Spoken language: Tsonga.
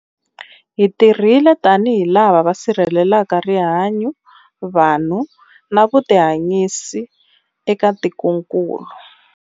Hi tirhile tanihi lava va sirhelelaka rihanyu, vanhu na vutihanyisi eka tikokulu.